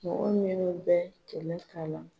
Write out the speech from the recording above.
Mɔgɔ minnu bɛ tɛmɛ ka na